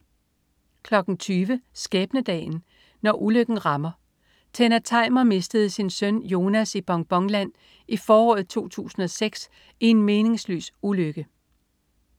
20.00 Skæbnedagen. Når ulykken rammer. Tenna Tajmer mistede sin søn Jonas i Bonbonland i foråret 2006 i en meningsløs ulykke